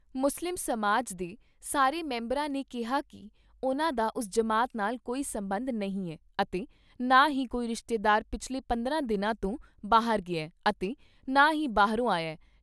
ਮੁਸਲਿਮ ਸਮਾਜ ਦੇ ਸਾਰੇ ਮੈਂਬਰਾਂ ਨੇ ਕਿਹਾ ਕਿ ਉਨ੍ਹਾਂ ਦਾ ਉਸ ਜਮਾਤ ਨਾਲ ਕੋਈ ਸਬੰਧ ਨਹੀਂ ਐ ਅਤੇ ਨਾ ਹੀ ਕੋਈ ਰਿਸ਼ਤੇਦਾਰ ਪਿਛਲੇ ਪੰਦਰਾਂ ਦਿਨਾਂ ਤੋਂ ਬਾਹਰ ਗਿਆ ਅਤੇ ਨਾ ਹੀ ਬਾਹਰੋ ਆਇਆ।